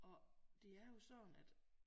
Og det er jo sådan at